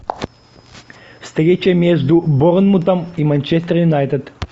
встреча между борнмутом и манчестер юнайтед